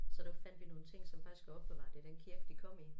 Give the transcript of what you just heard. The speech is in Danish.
Så der fandt vi nogle ting som faktisk er opbevaret i den kirke de kom i